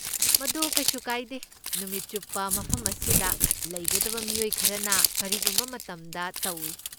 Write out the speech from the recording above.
ꯃꯗꯨ ꯀꯩꯁꯨ ꯀꯥꯏꯗꯦ, ꯅꯨꯃꯤꯠ ꯆꯨꯞꯄ ꯃꯐꯝ ꯑꯁꯤꯗ ꯂꯩꯒꯗꯕ ꯃꯤꯑꯣꯏ ꯈꯔꯅ ꯀꯔꯤꯒꯨꯝꯕ ꯃꯇꯝꯗ ꯇꯧꯏ꯫